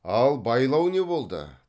ал байлау не болды